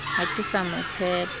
ha ke sa mo tshepa